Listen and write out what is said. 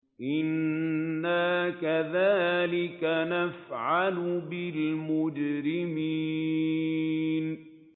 إِنَّا كَذَٰلِكَ نَفْعَلُ بِالْمُجْرِمِينَ